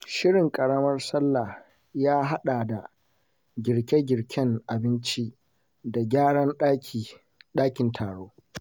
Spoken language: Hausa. Shirin Karamar Sallah ya haɗa da girke-girken abinci da gyaran dakin taro.